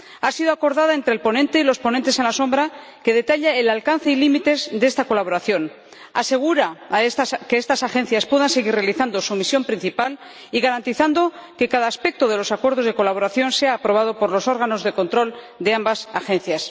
Ha sido acordada entre el ponente y los ponentes alternativos, detalla el alcance y los límites de esta colaboración y asegura que estas agencias puedan seguir realizando su misión principal y garantizando que cada aspecto de los acuerdos de colaboración sea aprobado por los órganos de control de ambas agencias.